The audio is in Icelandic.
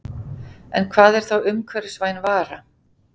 En hvað er þá umhverfisvæn vara?